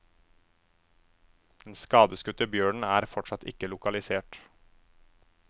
Den skadeskutte bjørnen er fortsatt ikke lokalisert.